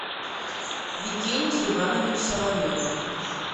викентий иванович соловьев